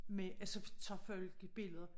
Med altså tager folk jo billeder